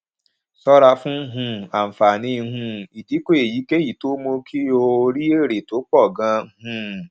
ṣọ́ra fún um àǹfààní um ìdíkò èyíkéyìí tó mú kó o rí èrè pọ̀ gan-an um